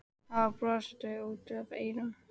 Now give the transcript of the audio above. Hann var brosandi út að eyrum.